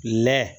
Lɛ